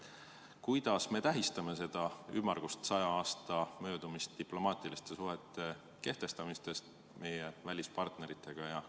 Kuidas me tähistame seda ümmargust 100 aasta möödumist diplomaatiliste suhete kehtestamisest meie välispartneritega?